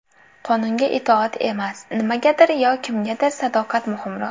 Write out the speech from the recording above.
Qonunga itoat emas, nimagadir yo kimgadir sadoqat muhimroq.